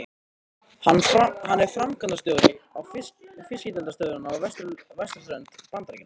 Hann er framkvæmdastjóri fiskeldisstöðvar á vesturströnd Bandaríkjanna.